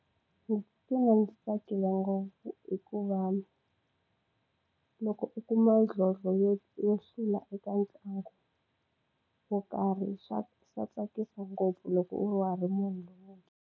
Ndzi titwa ndzi tsakile ngopfu hikuva loko u kuma xidlodlo yo yo hlula eka ntlangu wo karhi swa swa tsakisa ngopfu loko u wa ha ri munhu .